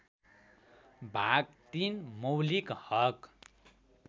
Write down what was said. भाग ३ मौलिक हक